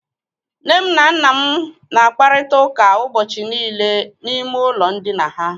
Nne m na nna m na-akparịta ụka ụbọchị niile n'ime ụlọ ndina ha.